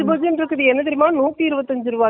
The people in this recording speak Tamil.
எல்லாமே விலை இப்போ ஜாஸ்தி ஆகிடுச்சு.